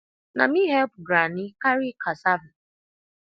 na me help granny carry cassava